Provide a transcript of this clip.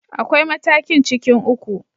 Akwai matakin cikin uku.